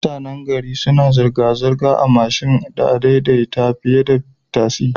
Mutanan gari suna zirga zirgar a mashin din adai-dai-ta fiyeda tasi